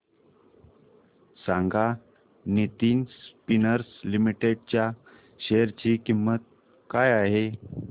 सांगा Nitin spinners limited च्या share ची किंमत काय आहे